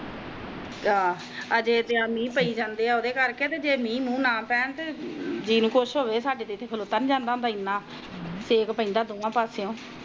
ਅਜੇ ਜਿਹੜਾ ਮਿਹ ਪਾਈ ਜਾਂਦਾ ਤਾ ਜੇ ਮਿਹ ਮੂੰਹ ਨਾ ਪਾਵੇ ਤਾ ਦਿਨ ਖੁਸ਼ ਹੋਵੇ ਅਨਾ ਸ਼ੱਕ ਪੈਦਾ